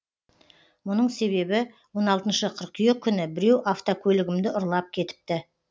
мұның себебі он алтыншы қыркүйек күні біреу автокөлігімді ұрлап кетіпті